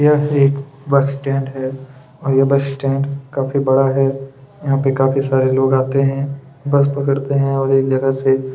यह एक bus stand है और यह बस स्टैंड काफी बड़ा है यहाँ पर काफी सारे लोग आते हैं बस पकड़ते हैं और एक जगह से--